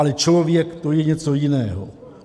Ale člověk, to je něco jiného.